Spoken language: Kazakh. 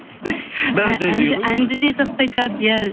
әнді де жақсы айтады иә